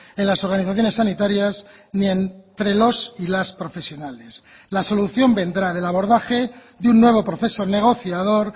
en las organizaciones sanitarias ni entre los y las profesionales la solución vendrá del abordaje de un nuevo proceso negociador